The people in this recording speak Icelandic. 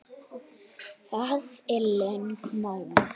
Það er lögmál.